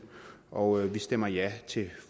og vi stemmer ja til